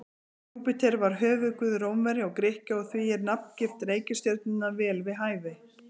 Júpíter var höfuðguð Rómverja og Grikkja og því er nafngift reikistjörnunnar vel við hæfi.